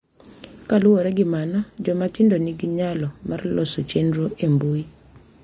Kaluwore gi mano, joma tindo nigi nyalo mar loso chenro e mbui